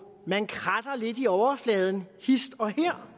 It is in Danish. man kratter lidt i overfladen hist og her